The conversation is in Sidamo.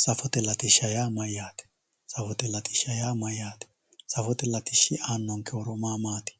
safote latishsha yaa mayyaate safote latishsha yaa mayyaate safote latishshi aannonke horo maa maati